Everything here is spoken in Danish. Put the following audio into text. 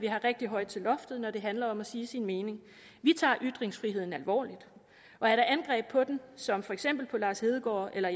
er rigtig højt til loftet når det handler om at sige sin mening vi tager ytringsfriheden alvorligt og er der angreb på den som for eksempel da lars hedegaard eller